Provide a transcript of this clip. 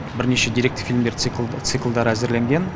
бірнеше деректі фильмдер циклдары әзірленген